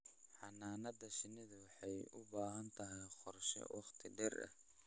Xannaanada shinnidu waxay u baahan tahay qorshe wakhti dheer ah.